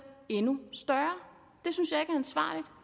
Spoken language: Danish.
endnu større